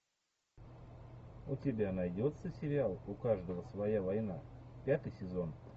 у тебя найдется сериал у каждого своя война пятый сезон